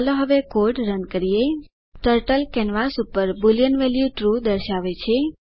ચાલો હવે code run કરીએ ટર્ટલ કેનવાસ પર બુલિયન વેલ્યુ ટ્રૂ દર્શાવે છે